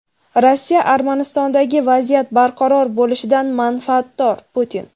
Rossiya Armanistondagi vaziyat barqaror bo‘lishidan manfaatdor – Putin.